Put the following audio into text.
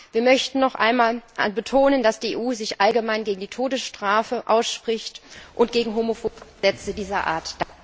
Wir möchten noch einmal betonen, dass die EU sich allgemein gegen die Todesstrafe ausspricht und gegen homophobe Gesetze dieser Art.